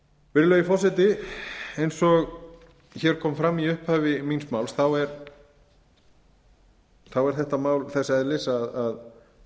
virðulegi forseti eins og hér kom fram í upphafi míns máls er þetta mál þess eðlis